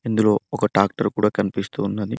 ఇందులో ఒక టాక్టర్ కూడా కనిపిస్తూ ఉన్నది.